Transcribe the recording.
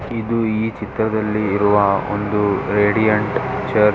ಇದು ಈ ಚಿತ್ರದಲ್ಲಿ ಇರುವ ಒಂದು ರಡಿಯಂಟ್ ಚರ್ಚ್ .